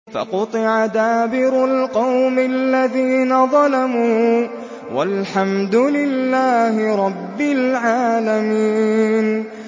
فَقُطِعَ دَابِرُ الْقَوْمِ الَّذِينَ ظَلَمُوا ۚ وَالْحَمْدُ لِلَّهِ رَبِّ الْعَالَمِينَ